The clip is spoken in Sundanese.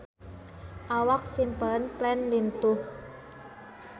Awak Simple Plan lintuh